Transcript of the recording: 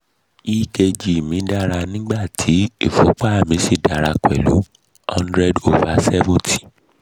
ekg mi dára nígbà tí ìfúnpá mi sì dára pẹ̀lú hundred over seventy